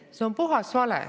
See on puhas vale.